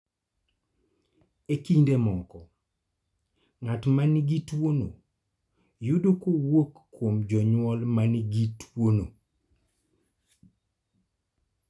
E kinde moko, ng�at ma nigi tuo no yude kowuok kuom jonyuol ma nigi tuo no.